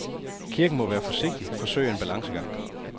Kirken må være forsigtig, forsøge en balancegang.